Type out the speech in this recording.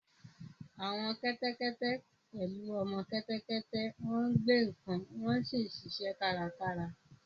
Àwọn kẹ́tẹ́kẹ́tẹ́ pẹ̀lú ọmọ kẹ́tẹ́kẹ́tẹ́ máa ń gbé nǹkan wọ́n sì ń ṣiṣẹ́ kárakára